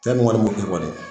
Tan ni kɛ kɔni